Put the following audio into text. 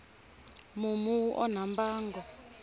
mumu wu onha mbango